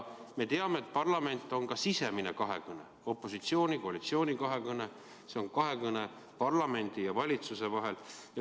Me teame, et parlament on ka sisemine kahekõne, opositsiooni-koalitsiooni kahekõne, see on kahekõne parlamendi ja valitsuse vahel.